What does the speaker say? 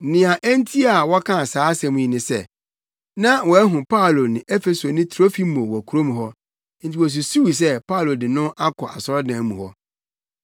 Nea enti a wɔkaa saa asɛm yi ne sɛ, na wɔahu Paulo ne Efesoni Trofimo wɔ kurom hɔ, enti na wosusuw sɛ Paulo de no akɔ asɔredan mu hɔ.